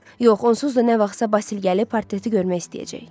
Yox, onsuz da nə vaxtsa Basil gəlib portreti görmək istəyəcək.